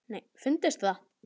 Fundist það?